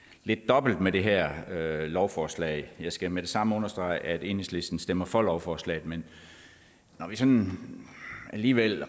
lidt dobbelt med det her lovforslag jeg skal med det samme understrege at enhedslisten stemmer for lovforslaget men når vi sådan alligevel